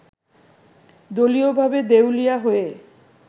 দলীয়ভাবে দেউলিয়া হয়ে